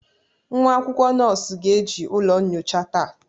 Nwa akwụkwọ nọọsụ ga-eji ụlọ nyocha taa.